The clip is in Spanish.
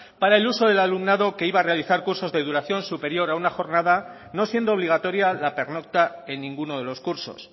para el uso del alumnado que iba a realizar cursos de duración superior a una jornada no siendo obligatoria la pernocta en ninguno de los cursos